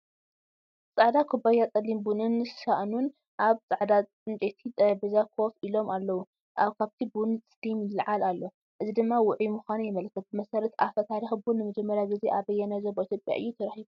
ጻዕዳ ኩባያ ጸሊም ቡንን ሳእኑን ኣብ ጻዕዳ ዕንጨይቲ ጠረጴዛ ኮፍ ኢሎም ኣለዉ። ካብቲ ቡን ስቲም ይለዓል ኣሎ፡ እዚ ድማ ውዑይ ምዃኑ የመልክት። ብመሰረት ኣፈ ታሪኽ ቡን ንመጀመርያ ግዜ ኣብ ኣየናይ ዞባ ኢትዮጵያ እዩ ተረኺቡ?